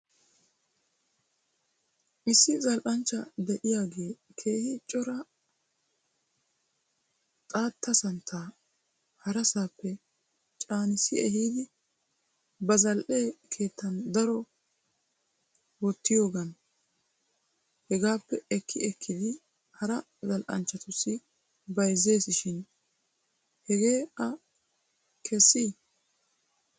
Issi zal'anchcha de'iyaagee keehi cora xaatta santtaa harassaappe caanissi ehiidi ba zal'e keettan doori wottiyoogan heegaappe ekki ekkidi hara zal'anchchatussu bayzzes shin hegee a kessii?